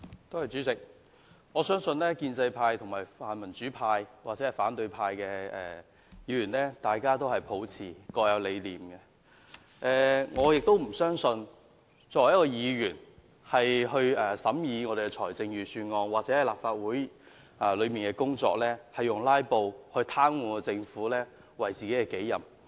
代理主席，我相信建制派、泛民主派或反對派的議員，大家都各有理想，我不信議員在審議財政預算案或立法會的工作時，會以"拉布"癱瘓政府為己任。